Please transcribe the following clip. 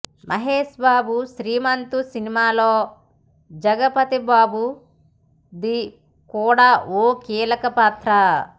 మహేష్ బాబు శ్రీమంతుడు సినిమాలో జగపతి బాబుది కూడా ఓ కీలకపాత్ర